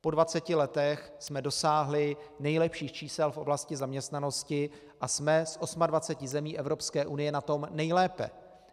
Po 20 letech jsme dosáhli nejlepších čísel v oblasti zaměstnanosti a jsme z 28 zemí Evropské unie na tom nejlépe.